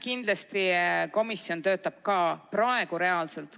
Kindlasti komisjon töötab ka praegu reaalselt.